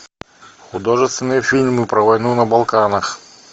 художественные фильмы про войну на балканах